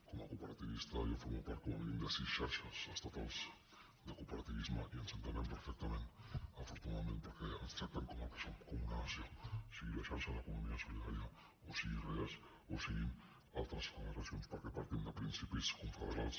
com a cooperativista jo formo part com a mínim de sis xarxes estatals de cooperativisme i ens entenem perfectament afortunadament perquè ens tracten com el som com una nació sigui la xarxa d’economia solidària o sigui reas o siguin altres federacions perquè partim de principis confederals